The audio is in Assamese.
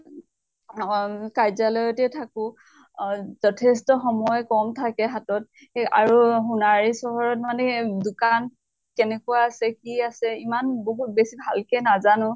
অহ অ কাৰ্যালয়তে থাকো। অ যথ্ষ্ট সময় কম থাকে হাতত। এই আৰু সোনাৰী চহৰত মানে দোকান কেনেকুৱা আছে কি আছে ইমান বহুত বেছি ভাল কে নাজানো।